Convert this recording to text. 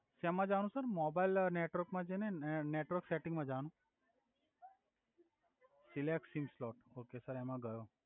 સેમા જવા નુ sir mobile network મા જઈને નેટવર્ક સેટીંગ મા જવાનુ સિલેકસિંગ સ્લોટ ઓકે સર એમા ગયો.